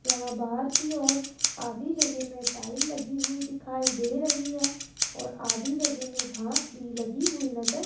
यहां बाहर की ओर आधी जगह में टाईल लगी हुई दिखाई दे रही है और आधी जगह में घास भी लगी हुई नजर --